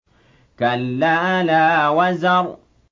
كَلَّا لَا وَزَرَ